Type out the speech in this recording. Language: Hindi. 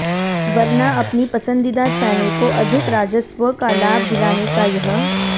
वरना अपनी पसंदीदा चैनल को अधिक राजस्व का लाभ दिलाने का यह